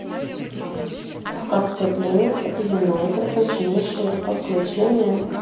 кавказская пленница или новые приключения шурика включи мне